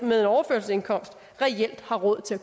med overførselsindkomst reelt har råd til at